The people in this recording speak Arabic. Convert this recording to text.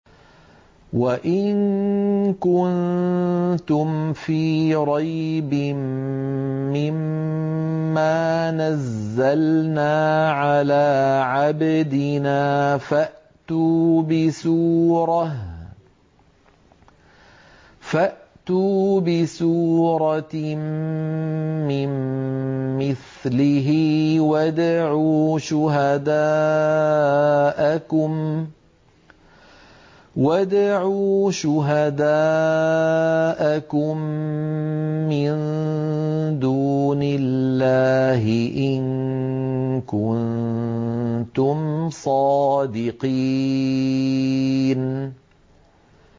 وَإِن كُنتُمْ فِي رَيْبٍ مِّمَّا نَزَّلْنَا عَلَىٰ عَبْدِنَا فَأْتُوا بِسُورَةٍ مِّن مِّثْلِهِ وَادْعُوا شُهَدَاءَكُم مِّن دُونِ اللَّهِ إِن كُنتُمْ صَادِقِينَ